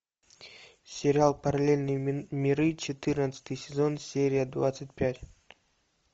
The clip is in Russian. сериал параллельные миры четырнадцатый сезон серия двадцать пять